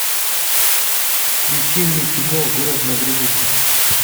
включи мне кино город на границе